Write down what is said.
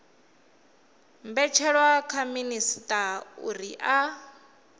mbetshelwa kha minisita uri a